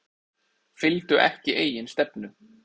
Fylgdu ekki eigin stefnu